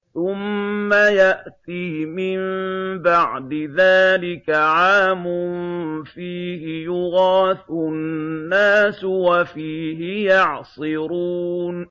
ثُمَّ يَأْتِي مِن بَعْدِ ذَٰلِكَ عَامٌ فِيهِ يُغَاثُ النَّاسُ وَفِيهِ يَعْصِرُونَ